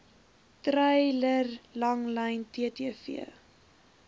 treiler langlyn ttv